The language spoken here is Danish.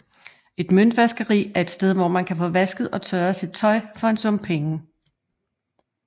Et møntvaskeri et et sted hvor man kan få vasket og tørret sit tøj for en sum penge